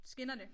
Skinnerne